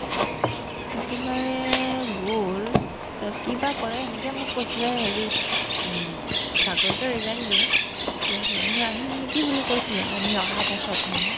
একেবাৰে গ'ল তাই কিবা কৰে এনেকে মোক কৈছিলে হেৰি উম চাকৰিতো resign দিলে তে এনে আহিম নেকি বুলি কৈছিলে আমি অহাৰ পাছত মানে